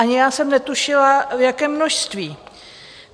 Ani já jsem netušila, na jaké množství.